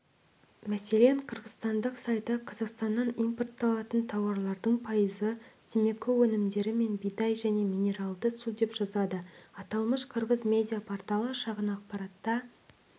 мәселен қырғызстандық сайты қазақстаннан импортталатын тауарлардың пайызы темекі өнімдері мен бидай және минералды су деп жазады аталмыш қырғыз медиа-порталы шағын ақпаратта